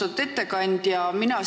Austatud ettekandja!